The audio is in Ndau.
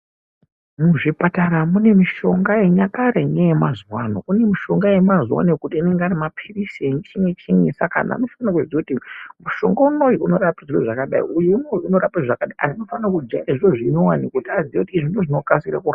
Muzvipatara mune mushonga yenyakare neyemazuwa ano, kune mishonga yemazuwaano yekuti anenge ariyemapirizi nechinyi chinyi saka antu anofana kuziya kuti mushonga unou unorapa zviro zvakadai antu anofana kujaiya zviro zvinyowani kuti aziye kuti izvi ndizvo zvinokasira kurapa.